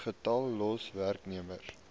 getal los werknemers